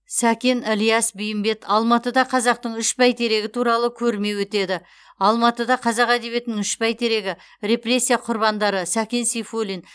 сәкен ілияс бейімбет алматыда қазақтың үш бәйтерегі туралы көрме өтеді алматыда қазақ әдебиетінің үш бәйтерегі репрессия құрбандары сәкен сейфуллин